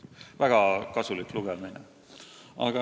Väga kasulik lugemine.